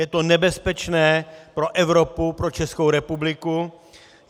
Je to nebezpečné pro Evropu, pro Českou republiku.